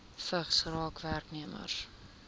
vigs raak werknemers